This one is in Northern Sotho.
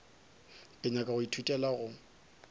ke nyaka go ithutela go